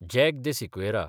jack de Sequeira